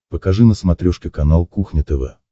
покажи на смотрешке канал кухня тв